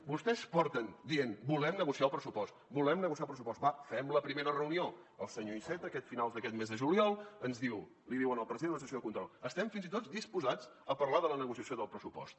vostès porten dient volem negociar el pressupost volem negociar el pressupost va fem la primera reunió el senyor iceta a finals d’aquest mes de juliol ens diu li diu al president a la sessió de control estem fins i tot disposats a parlar de la negociació del pressupost